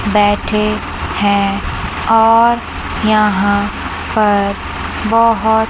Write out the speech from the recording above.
बैठे हैं और यहाँ पर बहोत--